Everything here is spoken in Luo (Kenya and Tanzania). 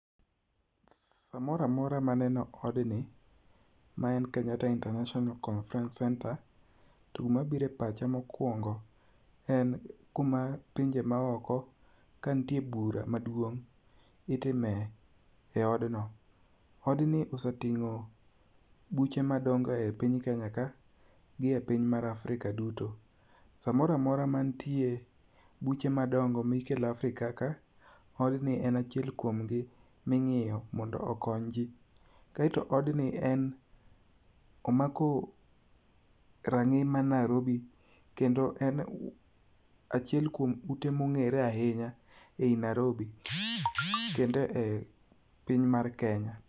Samoro amora ma aneno odni ma en Kenyatta International Conference Centre, to gima biro e pacha mokuongo en kuma pinje maoko kanitie bura maduong' itimo e odno. Odni osetimo buche madongo e Kenya ka gie e piny mar Africa duto. Samoro amora mantie buche madongo mikelo Africa ka, odni en achiel kuomgi ming'iyo mondo okony ji. Kaeto odni en omako rang'i ma Nairobi kendo en achiel kuom ute mong'ere ahinya ei Nairobi kendo e piny mar Kenya.